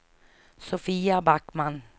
Sofia Backman